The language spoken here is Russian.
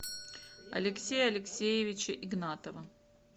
алексея алексеевича игнатова